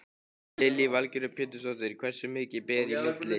Lillý Valgerður Pétursdóttir: Hversu mikið ber í milli?